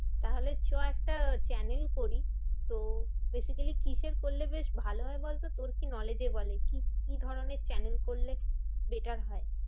তাহলে চ একটা channel করি। তো basically কিসের করলে বেশ ভালো হয় বলতো? তোর কি knowledge এ বলে? কি কি ধরণের channel করলে better হয়?